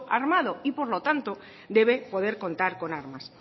armado y por lo tanto debe poder contar con armas